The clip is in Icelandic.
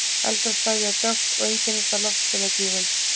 Eldra svæðið er dökkt og einkennist af loftsteinagígum.